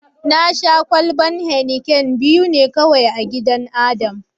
Na Sha kwalban "Heineken " biyu ne kawai a gidan Adam.